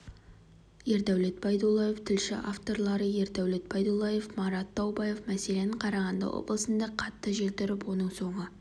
ердәулет байдуллаев тілші авторлары ердәулет байдуллаев марат таубаев мәселен қарағанды облысында қатты жел тұрып оның соңы